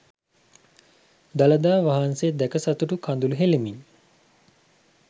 දළදා වහන්සේ දැක සතුටු කඳුළු හෙලමින්